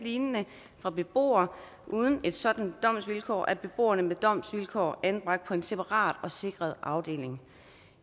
lignende fra beboere uden et sådant domsvilkår er beboerne med domsvilkår anbragt på en separat og sikret afdeling